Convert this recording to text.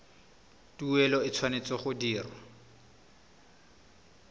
tuelo e tshwanetse go dirwa